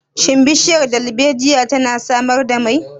Shin bishiyar darbejiya tana samar da mai?